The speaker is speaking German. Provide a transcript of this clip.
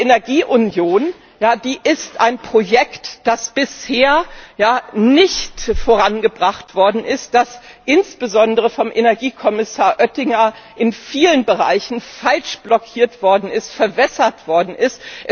Die Energie Union ist ein Projekt, das bisher nicht vorangebracht worden ist, das insbesondere vom Energiekommissar Oettinger in vielen Bereichen fälschlicherweise blockiert und verwässert worden ist.